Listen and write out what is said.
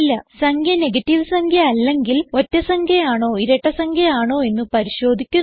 സംഖ്യ നെഗറ്റീവ് അല്ലെങ്കിൽ ഒറ്റ സംഖ്യ ആണോ ഇരട്ട സംഖ്യ ആണോ എന്ന് പരിശോധിക്കുന്നു